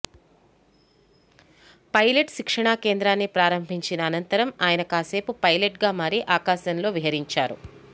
pilot శిక్షణ కేంద్రాన్ని ప్రారంభించిన అనంతరం ఆయన కాసేపు పైలట్గా మారి ఆకాశంలో విహరించారు